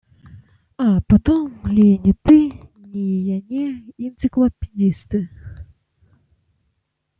а потом ли ни ты ни я не энциклопедисты